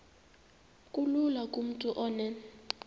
kulula kumntu onen